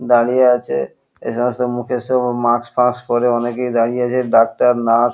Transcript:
দাঁড়িয়ে আছ এখানে মুখে সব মাস্ক টাস্ক পরে অনেকেই দাঁড়িয়ে আছে সামনে ডাক্তার নার্স ।